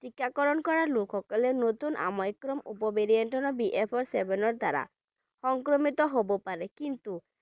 টিকাকৰণ কৰা লোকসকলে নতুন Omicron উপ variantBF seven ৰ দ্বাৰা সংক্ৰমিত হ'ব পাৰে কিন্তু